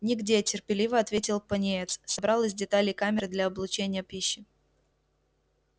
нигде терпеливо ответил пониетс собрал из деталей камеры для облучения пищи